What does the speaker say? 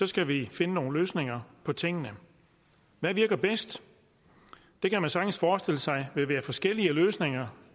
skal vi finde nogle løsninger på tingene hvad virker bedst det kan man sagtens forestille sig vil være forskellige løsninger